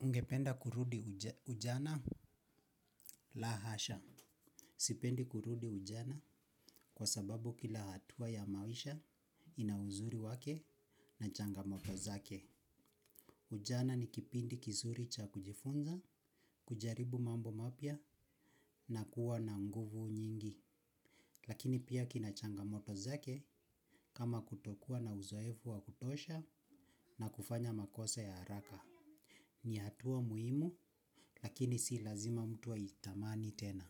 Ungependa kurudi ujana? La hasha. Sipendi kurudi ujana kwa sababu kila hatua ya maisha ina uzuri wake na changamoto zake. Ujana ni kipindi kizuri cha kujifunza, kujaribu mambo mapya na kuwa na nguvu nyingi. Lakini pia kina changamoto zake, kama kutokua na uzoefu wa kutosha na kufanya makosa ya haraka. Ni hatua muhimu, lakini si lazima mtu aitamani tena.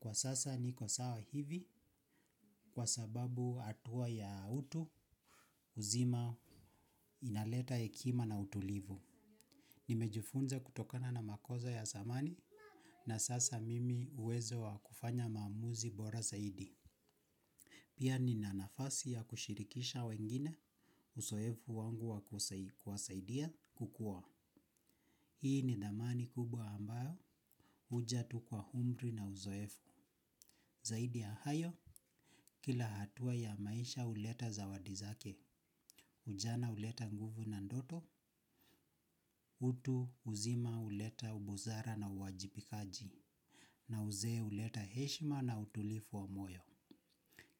Kwa sasa niko sawa hivi, kwa sababu hatua ya utu uzima inaleta hekima na utulivu. Nimejufunza kutokana na makosa ya zamani, na sasa mimi uwezo wa kufanya maamuzi bora zaidi. Pia nina nafasi ya kushirikisha wengine, uzoefu wangu wa kuwasaidia kukua. Hii ni dhamani kubwa ambayo huja tu kwa umri na uzoefu. Zaidi ya hayo, kila hatua ya maisha huleta zawadi zake, ujana huleta nguvu na ndoto, utu uzima huleta ubusara na uwajibikaji, na uzee huleta heshima na utulivu wa moyo.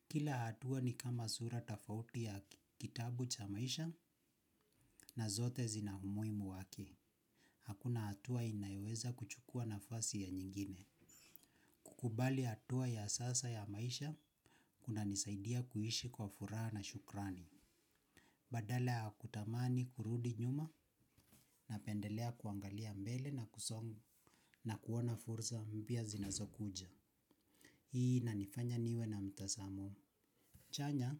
Kila hatua ni kama sura tofauti ya kitabu cha maisha, na zote zina umuhimu wake. Hakuna hatua inayoweza kuchukua nafasi ya nyingine. Kukubali hatua ya sasa ya maisha, kunanisaidia kuishi kwa furaha na shukrani. Badala ya kutamani kurudi nyuma napendelea kuangalia mbele na kusonga na kuona fursa mpia zinazo kuja. Hii inanifanya niwe na mtazamo. Chanya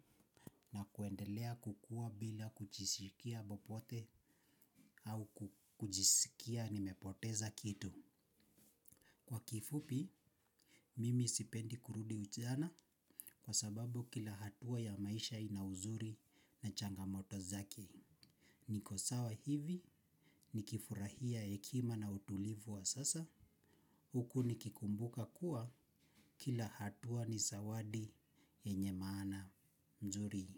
na kuendelea kukua bila kujisikia popote au kuchisikia nimepoteza kitu. Kwa kifupi, mimi sipendi kurudi ujana, kwa sababu kila hatua ya maisha ina uzuri na changamoto zake. Niko sawa hivi, nikifurahia hekima na utulivu wa sasa, huku nikikumbuka kuwa, kila hatua ni zawadi yenye maana nzuri.